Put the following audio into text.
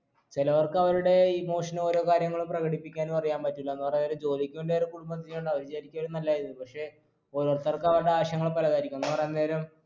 ചിലവർക്ക് അവരുടെ emotion ഒ ഓരോ കാര്യങ്ങളും പ്രകടിപ്പിക്കാനു അറിയാൻ പറ്റൂല്ല എന്ന് പറയാനേരം ജോലിക്ക് വേണ്ടി അവരെ കുടുംബം അത് ശരിക്കും ഒരു നല്ല കാര്യം തന്നെ പക്ഷെ ഓരോരുത്തർക്ക് അവരുടെ ആശയങ്ങൾ പലതായിരിക്കും എന്ന് പറയാൻ നേരം